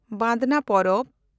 ᱵᱟᱸᱫᱱᱟ ᱯᱚᱨᱚᱵᱽ